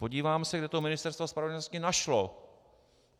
Podívám se, kde to Ministerstvo spravedlnosti našlo.